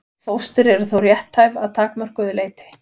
Fóstur eru þó rétthæf að takmörkuðu leyti.